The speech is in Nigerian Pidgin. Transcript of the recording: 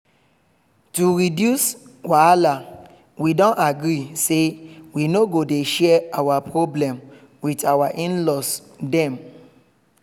to reduce wahala we don agree say we no go dey share our problem with our in-laws dem